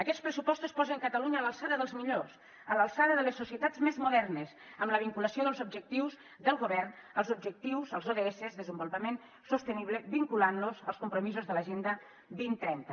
aquests pressupostos posen catalunya a l’alçada dels millors a l’alçada de les societats més modernes amb la vinculació dels objectius del govern als objectius als ods de desenvolupament sostenible vinculant los als compromisos de l’agenda dos mil trenta